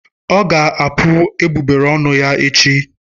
Ọ ga-apu egbugbere ọnụ ya echi.